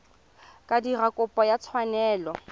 ka dira kopo ya tshwanelo